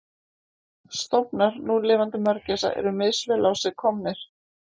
Stofnar núlifandi mörgæsa eru misvel á sig komnir.